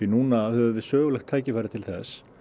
núna höfum við sögulegt tækifæri til þess